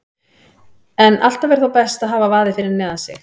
En alltaf er þó best að hafa vaðið fyrir neðan sig.